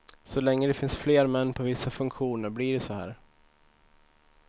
Så länge det finns fler män på vissa funktioner blir det så här.